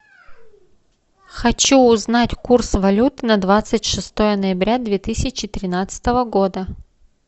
хочу узнать курс валют на двадцать шестое ноября две тысячи тринадцатого года